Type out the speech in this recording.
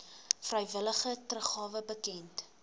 vrywillige teruggawe bekend